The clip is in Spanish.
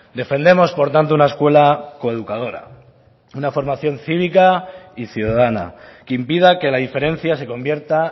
defendemos por tanto una escuela coeducadora una formación cívica y ciudadana que impida que la diferencia se convierta